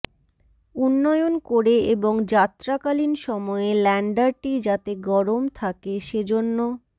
উন্নয়ন করে এবং যাত্রাকালীন সময়ে ল্যান্ডারটি যাতে গরম থাকে সেজন্য